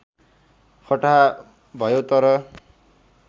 फटाहा भयौ तर